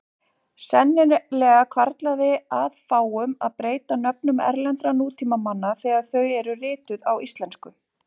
Sennilega hvarflaði að fáum að breyta nöfnum erlendra nútímamanna þegar þau eru rituð á íslensku.